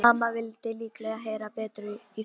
Mamma vildi líklega heyra betur í Þuru.